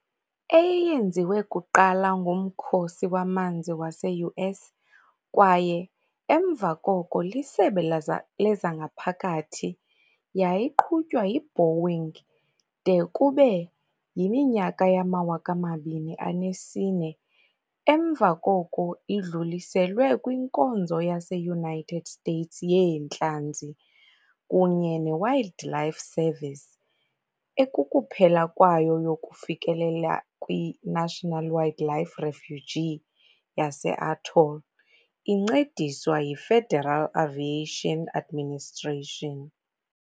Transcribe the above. Eyeyenziwe kuqala nguMkhosi waManzi wase-US kwaye emva koko liSebe lezangaphakathi, yayiqhutywa yi -Boeing de kube yi-2004, emva koko idluliselwe kwiNkonzo yase-United States yeentlanzi kunye ne-Wildlife Service ekukuphela kwayo yokufikelela kwi-National Wildlife Refuge yase-Atoll, incediswa yiFederal Aviation Administration.